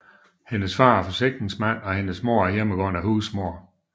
Hendes far er forsikringsmand og hendes mor er hjemmegående husmor